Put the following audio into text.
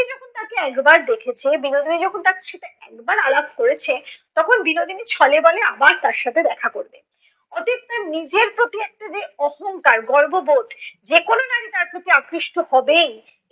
তাকে একবার দেখেছে, বিনোদিনী যখন তার সাথে একবার আলাপ করেছে, তখন বিনোদিনী ছলে বলে আবার তার সাথে দেখা করবে। অতীব তার নিজের প্রতি যে একটা যে অহঙ্কার, গর্ববোধ যে কোন নারী তার প্রতি আকৃষ্ট হবেই,